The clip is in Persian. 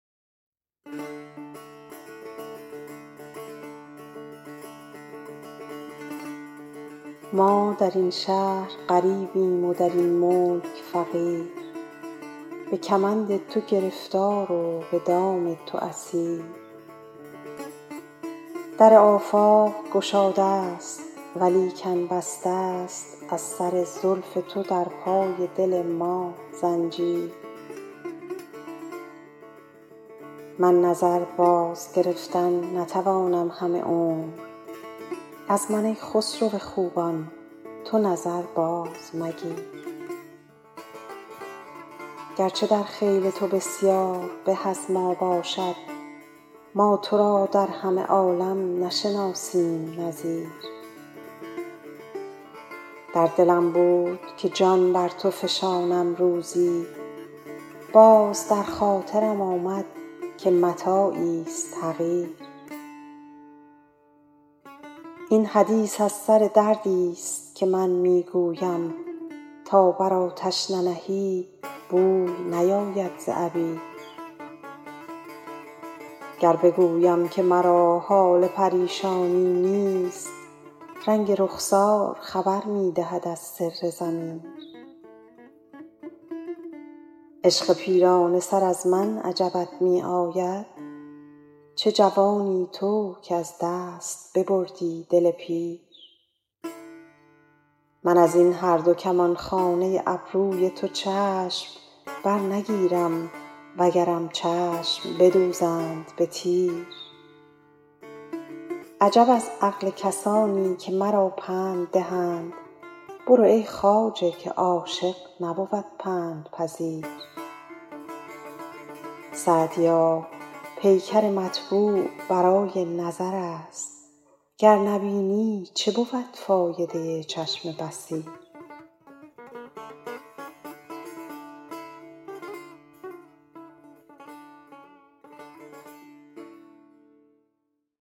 ما در این شهر غریبیم و در این ملک فقیر به کمند تو گرفتار و به دام تو اسیر در آفاق گشاده ست ولیکن بسته ست از سر زلف تو در پای دل ما زنجیر من نظر بازگرفتن نتوانم همه عمر از من ای خسرو خوبان تو نظر بازمگیر گرچه در خیل تو بسیار به از ما باشد ما تو را در همه عالم نشناسیم نظیر در دلم بود که جان بر تو فشانم روزی باز در خاطرم آمد که متاعیست حقیر این حدیث از سر دردیست که من می گویم تا بر آتش ننهی بوی نیاید ز عبیر گر بگویم که مرا حال پریشانی نیست رنگ رخسار خبر می دهد از سر ضمیر عشق پیرانه سر از من عجبت می آید چه جوانی تو که از دست ببردی دل پیر من از این هر دو کمانخانه ابروی تو چشم برنگیرم وگرم چشم بدوزند به تیر عجب از عقل کسانی که مرا پند دهند برو ای خواجه که عاشق نبود پندپذیر سعدیا پیکر مطبوع برای نظر است گر نبینی چه بود فایده چشم بصیر